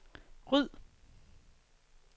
ryd